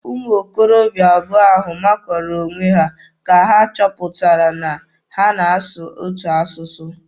Ụmụ okorobịa abụọ ahụ makuru onwe ha oge ha chọpụtara na ha na-asụ otu asụsụ.